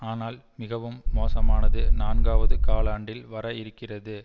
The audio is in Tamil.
ஆனால் மிகவும் மோசமானது நான்காவது காலாண்டில் வர இருக்கிறது